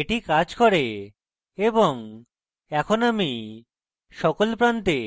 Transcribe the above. এটি কাজ করে এবং এখন আমি সকল প্রান্তে